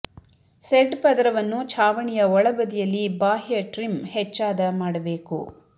shed ಪದರವನ್ನು ಛಾವಣಿಯ ಒಳ ಬದಿಯಲ್ಲಿ ಬಾಹ್ಯ ಟ್ರಿಮ್ ಹೆಚ್ಚಾದ ಮಾಡಬೇಕು